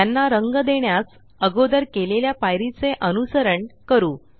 त्यांना रंग देण्यास अगोदर केलेल्या पायरी चे अनुसरण करू